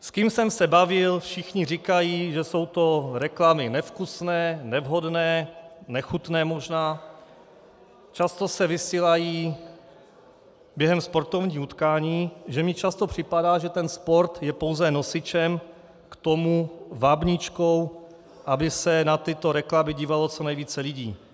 S kým jsem se bavil, všichni říkají, že jsou to reklamy nevkusné, nevhodné, nechutné možná, často se vysílají během sportovních utkání, že mi často připadá, že ten sport je pouze nosičem k tomu, vábničkou, aby se na tyto reklamy dívalo co nejvíce lidí.